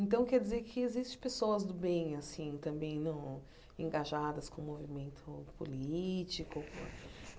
Então, quer dizer que existem pessoas do bem assim também no engajadas com o movimento político.